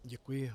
Děkuji.